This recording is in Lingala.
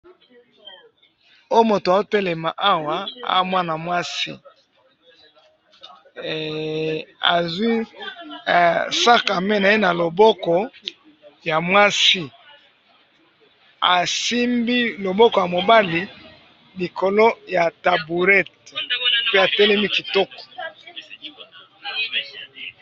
oyo mutu azo telema awa aza mwana mwasi azwii sac a main naye naloboko ya mwasi asimbi loboko ya mobali likolo ya taburete pe atelemi kitoko